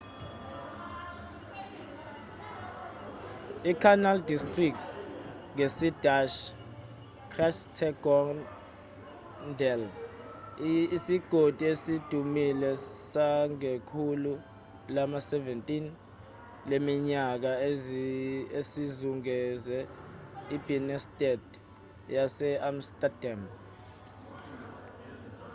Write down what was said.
icanal district ngesidashi: grachtengordel isigodi esidumile sangekhulu lama-17 leminyaka esizungeze ibinnestad yase-amsterdam